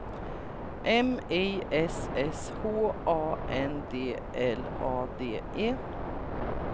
M I S S H A N D L A D E